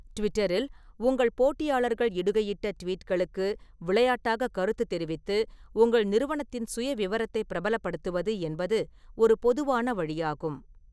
ட்விட்டரில், உங்கள் போட்டியாளர்கள் இடுகையிட்ட ட்வீட்களுக்கு விளையாட்டாகக் கருத்து தெரிவித்து உங்கள் நிறுவனத்தின் சுயவிவரத்தைப் பிரபலப்படுத்துவது என்பது ஒரு பொதுவான வழியாகும்.